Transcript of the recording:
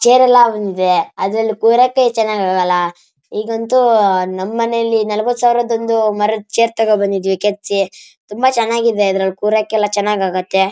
Chair ಎಲ್ಲ ಬಂದಿದೆ. ಅದ್ರಲ್ಲಿ ಕೂರೋಕೆ ಚೆನ್ನಾಗ್ ಆಗಲ್ಲ. ಈಗಂತೂ ನಮ್ ಮನೇಲೆ ನಲವತ್ತು ಸಾವಿರದ್ದುಒಂದು ಮರದ ಚೇರ್ ತಕೊಂಡ್ ಬಂದಿದ್ದೀವಿ ಕೆತ್ತಿಸಿ. ತುಂಬಾ ಚೆನ್ನಾಗಿದೆ ಅದರಲ್ಲಿ ಕೂರೋಕೆಲ್ಲ ಚೆನ್ನಾಗಿ ಆಗುತ್ತೆ.